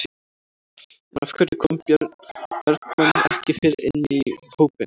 En af hverju kom Björn Bergmann ekki fyrr inn í hópinn?